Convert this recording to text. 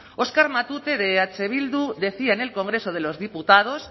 oskar matute de eh bildu decía en el congreso de los diputados